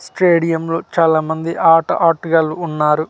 స్టేడియంలో చాలా మంది ఆట ఆటగాళ్లు ఉన్నారు.